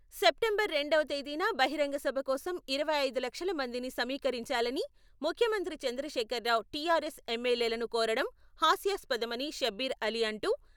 September రెండవ తేదీన బహిరంగసభ కోసం ఇరవై ఐదు లక్షల మందిని సమీకరించాలని ముఖ్యమంత్రి చంద్రశేఖర్ రావు టీఆర్ఎస్ ఎమ్మెల్యేలను కోరడం హాస్యాస్పదమని షబ్బీర్ అలీ అంటూ...